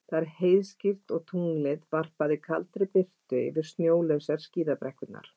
Það var heiðskírt og tunglið varpaði kaldri birtu yfir snjólausar skíðabrekkurnar.